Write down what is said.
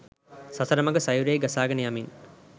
සසර මහ සයුරෙහි ගසාගෙන යමින්